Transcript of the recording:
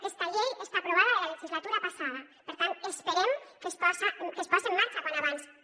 aquesta llei està aprovada de la legislatura passada per tant esperem que es pose en marxa com més aviat millor